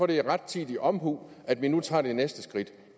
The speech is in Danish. det er rettidig omhu at vi nu tager det næste skridt